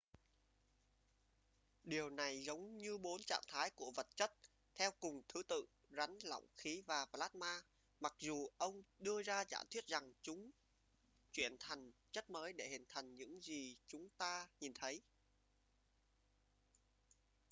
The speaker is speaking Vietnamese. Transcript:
điều này giống như bốn trạng thái của vật chất theo cùng thứ tự: rắn lỏng khí và plasma mặc dù ông đưa ra giả thuyết rằng chúng chuyển thành chất mới để hình thành những gì chúng ta nhìn thấy